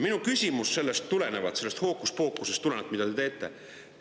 Minu küsimus tuleneb sellest hookuspookusest, mida te teete.